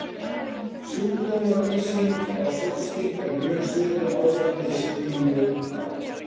Sjúkdómslýsing á sólsting er mjög svipuð ástandi mínu þá.